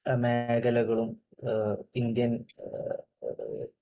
മേഖലകളും ഇന്ത്യൻ